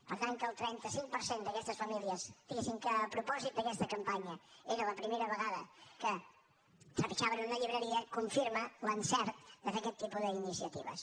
per tant que el trenta cinc per cent d’aquestes famílies diguessin que a propòsit d’aquesta campanya era la primera vegada que trepitjaven una llibreria confirma l’encert de fer aquest tipus d’iniciatives